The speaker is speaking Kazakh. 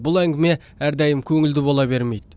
бұл әңгіме әрдайым көңілді бола бермейді